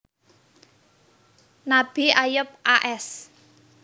Nabi Ayub a s